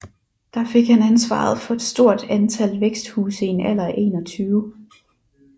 Der fik han ansvaret for et stort antal væksthuse i en alder af 21